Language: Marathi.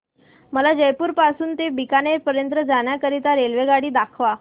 मला जयपुर पासून ते बीकानेर पर्यंत जाण्या करीता रेल्वेगाडी दाखवा